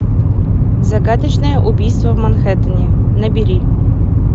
загадочное убийство в манхэттене набери